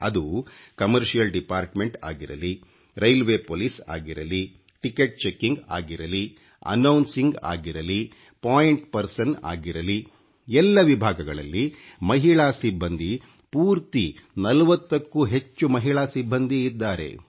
ಅದು ಅommeಡಿಛಿiಚಿಟ ಆeಠಿಚಿಡಿಣmeಟಿಣ ಆಗಿರಲಿ ಖಚಿiಟತಿಚಿಥಿ Poಟiಛಿe ಆಗಿರಲಿ ಖಿiಛಿಞeಣ ಅheಛಿಞiಟಿg ಆಗಿರಲಿ ಂಟಿಟಿouಟಿಛಿiಟಿg ಆಗಿರಲಿ Poiಟಿಣ Peಡಿsoಟಿ ಆಗಿರಲಿ ಎಲ್ಲ ವಿಭಾಗಗಳಲ್ಲಿ ಮಹಿಳಾ ಸಿಬ್ಬಂದಿ ಪೂರ್ತಿ 40 ಕ್ಕೂ ಹೆಚ್ಚು ಮಹಿಳಾ ಸಿಬ್ಬಂದಿಇದ್ದಾರೆ